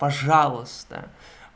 пожалуйста